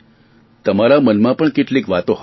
તમારા મનમાં પણ કેટલીક વાતો હશે